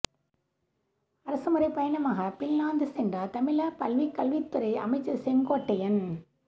அரசுமுறைப் பயணமாக ஃபின்லாந்து சென்றார் தமிழக பள்ளிக்கல்வித்துறை அமைச்சர் செங்கோட்டையன்